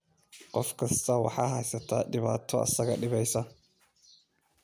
Qof kasta waxa haysata dhibaato isaga dhibaysa